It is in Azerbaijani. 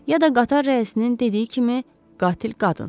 Ya da qatar rəisinin dediyi kimi qatil qadındır.